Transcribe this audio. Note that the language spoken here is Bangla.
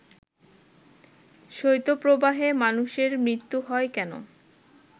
শৈত্যপ্রবাহে মানুষের মৃত্যু হয় কেন